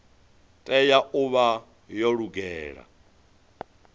tea u vha yo lugela